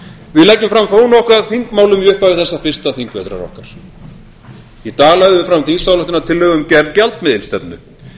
við leggjum fram þó nokkuð af þingmálum í upphafi þessa fyrsta þingvetrar okkar í dag lögðum við fram þingsályktunartillögu um gerð gjaldmiðilsstefnu